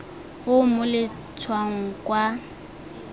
o o mo letshwaong kwa